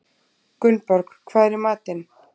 Gunnborg, hvað er í matinn?